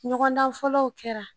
Ɲɔgɔndan fɔlɔw kɛra